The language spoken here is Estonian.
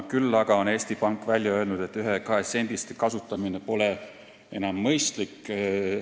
Küll aga on Eesti Pank välja öelnud, et ühe- ja kahesendiste kasutamine pole enam mõistlik.